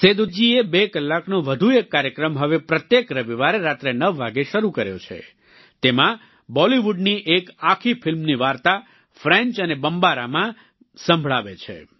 સેદૂ જીએ બે કલાકનો વધુ એક કાર્યક્રમ હવે પ્રત્યેક રવિવારે રાત્રે 9 વાગ્યે શરૂ કર્યો છે તેમાં બોલિવુડની એક આખી ફિલ્મની વાર્તા ફ્રેન્ચ અને બમ્બારામાં સંભળાવે છે